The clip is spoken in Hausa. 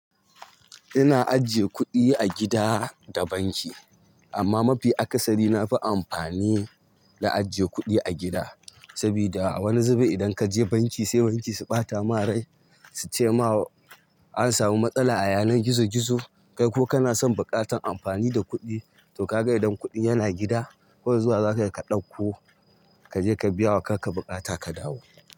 Ina ajiye kuɗi a gida da banki amma mafi akasari nafi amfani da ajiye kuɗi a gida sabida a wani zube idan kaje banki sai banki su ɓata ma rai suce ma an samu matsala a yanan gizo gizo. Kai kuma kana son buƙatar amfani da kuɗi to kaga idan kuɗi m yana gida kawai zuwa zakayi ka ɗauko ka je ka biya wa kakka bukata ka dawo.